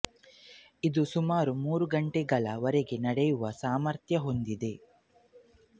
ಇದು ಸುಮಾರು ಮೂರು ಗಂಟೆಗಳ ವರೆಗೆ ನಡೆಯುವ ಸಾಮರ್ಥ್ಯ ಹೊಂದಿದೆ